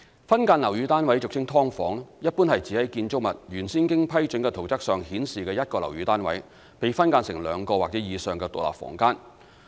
分間樓宇單位一般是指在建築物原先經批准的圖則上顯示的一個樓宇單位被分間成兩個或以上的獨立房間。